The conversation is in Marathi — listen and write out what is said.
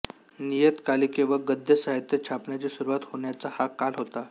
नियतकालिके व गद्यसाहित्य छापण्याची सुरुवात होण्याच़ा हा काल होता